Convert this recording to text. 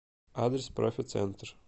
адрес профи центр